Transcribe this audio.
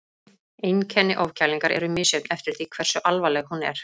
Einkenni ofkælingar eru misjöfn eftir því hversu alvarleg hún er.